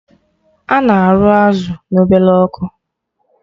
Ana arụ azụ na ọbele ọkụ